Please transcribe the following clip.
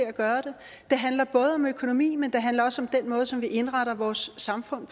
at gøre det det handler både om økonomi men det handler også om den måde som vi indretter vores samfund